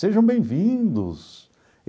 Sejam bem-vindos.